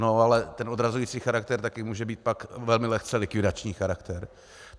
No, ale ten odrazující charakter také může být pak velmi lehce likvidační charakter.